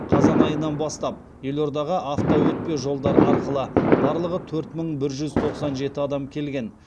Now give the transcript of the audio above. қазан айынан бастап елордаға автоөтпе жолдар арқылы барлығы төрт мың бір жүз тоқсан жеті адам келген